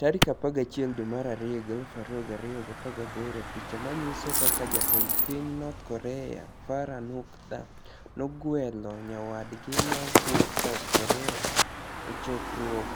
11 Februar 2018 Picha maniyiso kaka jatend piniy north Korea Farah niukdha, nogwelo niyawadgi ma wuok South Korea e chokruok